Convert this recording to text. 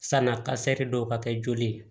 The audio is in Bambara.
Sanna kasɛri dɔw ka kɛ joli ye